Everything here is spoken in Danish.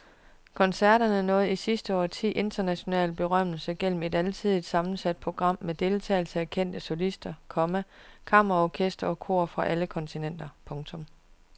Koncerterne nåede i sidste årti international berømmelse gennem et alsidigt sammensat program med deltagelse af kendte solister, komma kammerorkestre og kor fra alle kontinenter. punktum